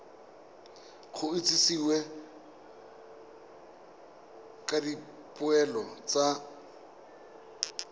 go itsisiwe ka dipoelo tsa